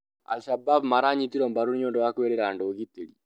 Al-shabab maranyitwo mbarũ nĩũndũ wa kwĩrĩra andũ ũgitĩri